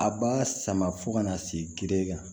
A b'a sama fo ka na se gere kan